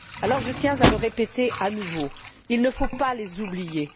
Alors je tiens à le répéter à nouveau il ne faut pas les oublier.